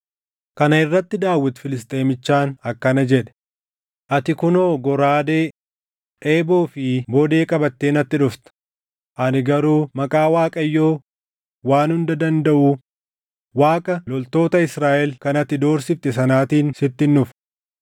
Kana irratti Daawit Filisxeemichaan akkana jedhe; “Ati kunoo goraadee, eeboo fi bodee qabatee natti dhufta; ani garuu maqaa Waaqayyoo Waan Hunda Dandaʼuu, Waaqa loltoota Israaʼel kan ati doorsifte sanaatiin sittin dhufa.